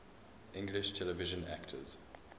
english television actors